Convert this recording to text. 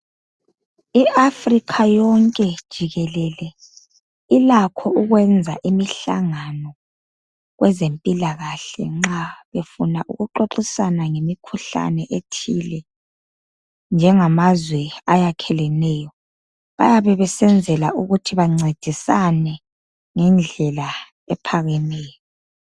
i Africa yonke jikelele ilakho ukwenza imihlangano kwezempilakahle nxa befuna ukuxoxisana ngemikhuhlane ethile njengamazwe ayakheleneyo bayabe besenzela ukuthi bancedisane ngendlela ephakemeyo